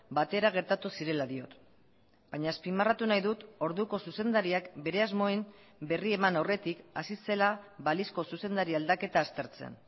batera gertatu zirela diot baina azpimarratu nahi dut orduko zuzendariak bere asmoen berri eman aurretik hasi zela balizko zuzendari aldaketa aztertzen